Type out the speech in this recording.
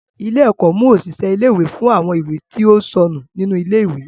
Ilé-ẹ̀kọ́ mú òṣìṣẹ́ ilé-ìwé fún àwọn ìwé tí ó ń sọnù nínú ilé-ìwé.